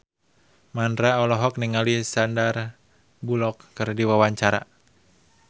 Mandra olohok ningali Sandar Bullock keur diwawancara